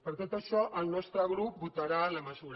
per tot això el nostre grup votarà la mesura